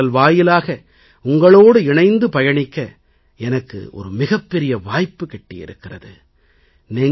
மனதின் குரல் வாயிலாக உங்களோடு இணைந்து பயணிக்க எனக்கு மிகப் பெரிய வாய்ப்பு கிட்டியிருக்கிறது